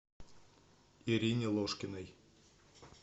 ирине ложкиной